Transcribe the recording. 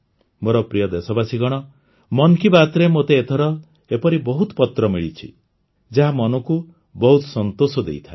ମୋର ପ୍ରିୟ ଦେଶବାସୀଗଣ ମନ କୀ ବାତ୍ରେ ମୋତେ ଏଥର ଏପରି ବହୁତ ପତ୍ର ମିଳିଛି ଯାହା ମନକୁ ବହୁତ ସନ୍ତୋଷ ଦେଇଥାଏ